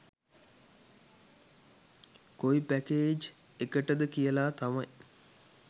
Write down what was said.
කොයි පැකේජ් එකටද කියලා තමයි